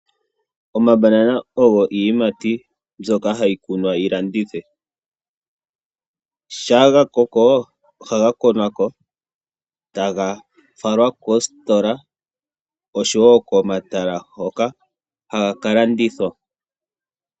Omambanana ogo iiyimati mbyoka hayi kunwa yi landithwe. Shaa ga koko ohaga konwa ko taga falwa koositola, oshowo komatala hoka haga ka landithwa.